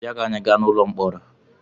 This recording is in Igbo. Bịa ka anyị gaa n'ụlọ mkpọrọ!